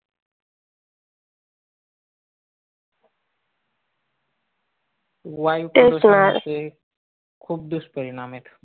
वायू प्रदूषणाचे खूप दुष्परिणाम आहेत.